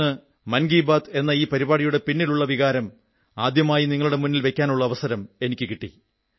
ഇന്ന് മൻ കീ ബാത് എന്ന ഈ പരിപാടിയുടെ പിന്നിലുള്ള വികാരം ആദ്യമായി നിങ്ങളുടെ മുന്നിൽ വയ്ക്കാനുള്ള അവസരം കിട്ടി